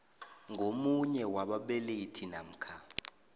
ngomunye wababelethi namkha